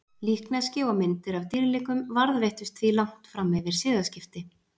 Líkneski og myndir af dýrlingum varðveittust því langt fram yfir siðaskipti.